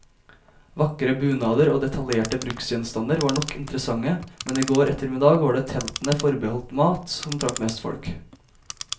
Vakre bunader og detaljerte bruksgjenstander var nok interessante, men i går ettermiddag var det teltene forbeholdt mat, som trakk mest folk.